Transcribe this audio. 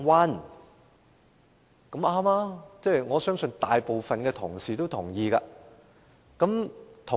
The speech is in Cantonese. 這種說法沒錯，我相信大部分同事都會同意。